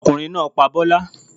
Ọkùnrin náá pa bọ́lá